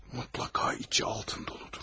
Mütləqa içi altun doludur.